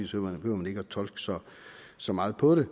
så behøver man ikke at tolke så så meget på det